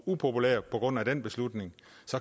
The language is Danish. upopulær på grund af den beslutning